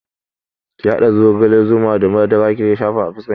Ki haɗa zogala, zuma da madara ki shafa a fuskar ki